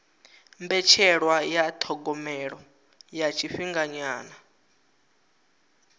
mbetshelwa ya thogomelo ya tshifhinganyana